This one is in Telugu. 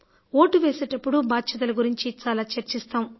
ఓటు వేసేటప్పుడు బాధ్యతల గురించి చాలా చర్చిస్తాం